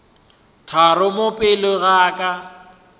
tharo mo pele ga ka